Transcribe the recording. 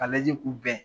Ka lajɛ k'u bɛn